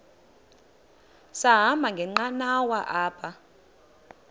sahamba ngenqanawa apha